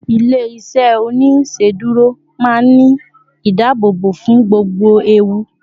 ilé iṣẹ oniṣeduro ma n Ni ìdáàbòbò fún gbogbo ẹwù